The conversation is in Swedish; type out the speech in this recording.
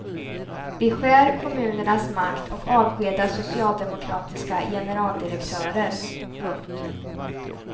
Beskär kommunernas makt och avskeda socialdemokratiska generaldirektörer. punkt